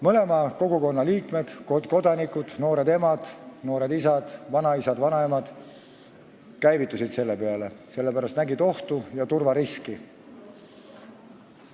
Mõlema kogukonna liikmed, kodanikud, noored emad, noored isad, vanaisad ja vanaemad, käivitusid selle peale, sest nad nägid ohtu ja turvariski.